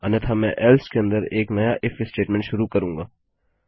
अन्यथा मैं एल्से के अंदर एक नया इफ स्टेटमेंट शुरू करूँगा